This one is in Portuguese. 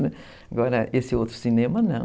Agora, esse outro cinema, não.